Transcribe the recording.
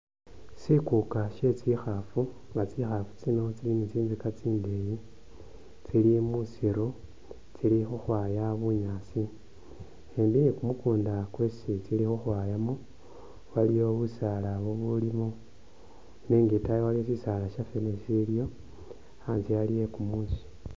Sikuka setsikhafu, nga tsikhafu tsino tsili ni tsinzika tsindeyi, tsili mu musiru tsili khukhwaya bunyaasi, shimbi ni kumukunda kwesi tsili khukhwayamo waliyo busaala bubulimo nenga itayi waliyo shisaala sha fene shisiliyo anzye ali e kumusi.